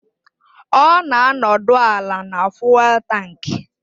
Ọ na-anọdụ ala na fụ́élú tankị